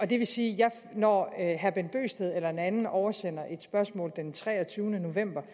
det vil sige at når herre bent bøgsted eller en anden oversender et spørgsmål den treogtyvende november